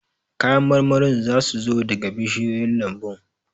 Kayan marmarin za su zo daga bishiyoyin lambun